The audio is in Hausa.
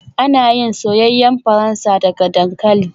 Ana yin soyayyen Faransa daga dankali